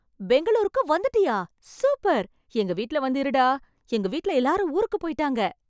பெங்களூருக்கு வந்துட்டியா? சூப்பர். எங்க வீட்ல வந்து இருடா... எங்க வீட்ல எல்லாரும் ஊருக்கு போய்ட்டாங்க.